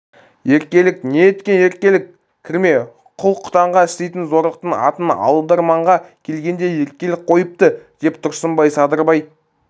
еркелік не еткен еркелік кірме құл-құтанға істейтін зорлықтың атын алдарманға келгенде еркелік қойыпты деп тұрсынбай садырбай